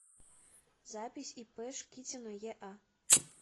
запись ип шкитина еа